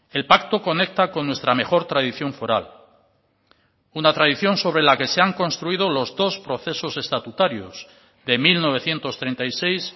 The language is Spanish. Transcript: el pacto conecta con nuestra mejor tradición foral una tradición sobre la que se han construido los dos procesos estatutarios de mil novecientos treinta y seis